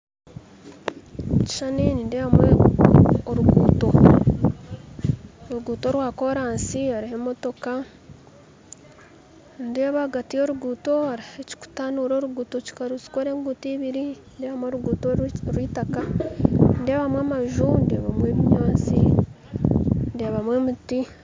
Omukishushani nindeebamu orugutto orugutto rwa koransi haruho emotoka nindeeba ahagati y'orugutto hariho ekikutanuura orugutto kyikarukora engutto ibiri nindebamu orugutto orw'itaka nindebamu amaju ndebamu ebinyantsi ndebamu emiti.